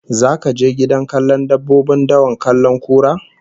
Zaka je gidan kallon dabbobin dawa kallon kura?